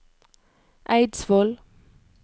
Eidsvoll